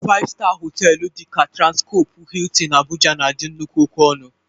Faịv-staa họtelụ dị ka Transkọpụ Hịịtịn Abụja na-adị nnukwu oke ọnụ.